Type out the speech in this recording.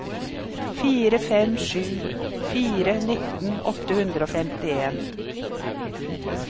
fire fem sju fire nitten åtte hundre og femtien